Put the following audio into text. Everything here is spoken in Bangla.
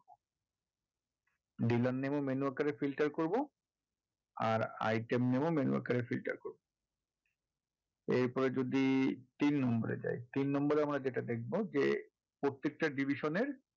dealer name ও menu আকারে filter করবো আর item name ও menu আকারে filter করবো এরপরে যদি তিন নম্বর এ যাই তিন নম্বর এ আমরা যেটা দেখবো যে প্রত্যেকটা division এর